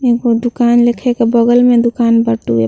एगो दुकान लेखे के बगल में दुकान बटुए।